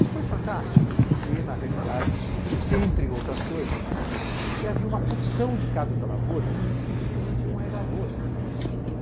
E foi fantástico, porque na realidade descobriu-se, entre outras coisas, que havia uma porção de Casa da Lavoura em municípios que não tinham mais lavoura.